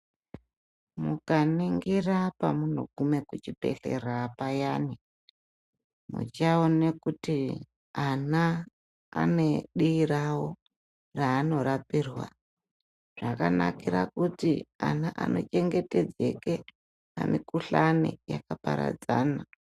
Mukaningira Pamunogume kuvhibhedhlera payani muchaone kuti ana ane dii rawo raanorapwirwa zvakanakire kuti ana anochengetedzeke pamikhuhlani yakaparadzana.